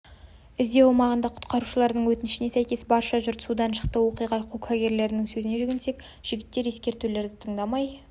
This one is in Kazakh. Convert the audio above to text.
іздеу аумағында құтқарушылардың өтінішіне сәйкес барша жұрт судан шықты оқиға куәгерлерінің сөзіне жүгінсек жігіттер ескертулерді тыңдамай